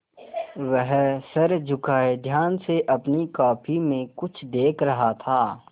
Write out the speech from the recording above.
वह सर झुकाये ध्यान से अपनी कॉपी में कुछ देख रहा था